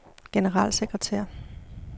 generalsekretær